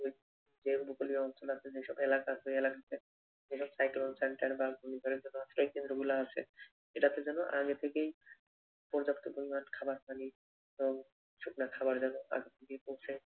যে উপকূলীয় অঞ্চল আছে যে সকল এলাকাতে সাইক্লোনে center বা ঘূর্ণিঝড় গুলা আছে এটাতে যেন আগে থেকেই পর্যাপ্ত পরিমান খাবার থাকে জল, এবং শুকনা খাবার যেন আগে থেকেই পৌঁছায়